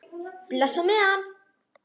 Bless á meðan.